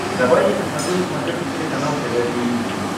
давай я посмотрю на смотрешке телеканал тв три эйч ди